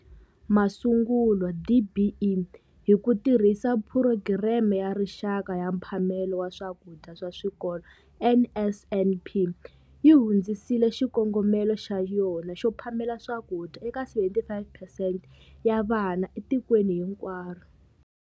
Masungulo, DBE, hi ku tirhisa Phurogireme ya Rixaka ya Mphamelo wa Swakudya swa Swikolo, NSNP, yi hundzisile xikongomelo xa yona xo phamela swakudya eka 75 phesente ya vana etikweni hinkwaro.